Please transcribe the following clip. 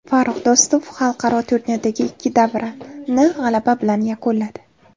Farrux Do‘stov xalqaro turnirdagi ikki davrani g‘alaba bilan yakunladi.